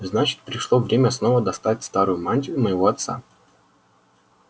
значит пришло время снова достать старую мантию моего отца